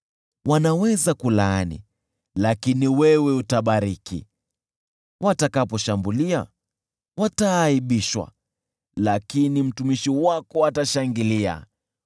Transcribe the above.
Wanaweza kulaani, lakini wewe utabariki, watakaposhambulia wataaibishwa, lakini mtumishi wako atashangilia.